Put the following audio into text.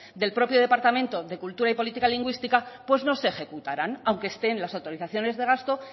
del propio departamento de cultura y política lingüística pues no se ejecutarán aunque estén en las autorizaciones de gasto